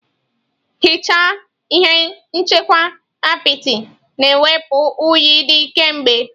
Ehichaa ihe nchekwa apịtị na-ewepụ unyi dị kemgbe.